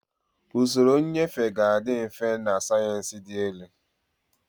Usoro nnyefe ga-adị mfe na sayensị dị elu.